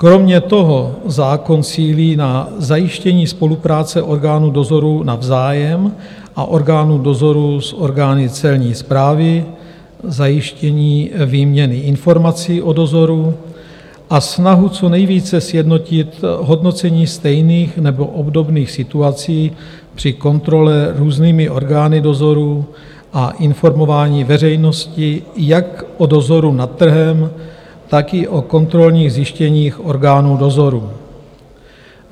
Kromě toho zákon cílí na zajištění spolupráce orgánů dozoru navzájem a orgánů dozoru s orgány Celní správy, zajištění výměny informací o dozoru a snahu co nejvíce sjednotit hodnocení stejných nebo obdobných situací při kontrole různými orgány dozoru a informování veřejnosti jak o dozoru nad trhem, tak i o kontrolních zjištěních orgánů dozoru.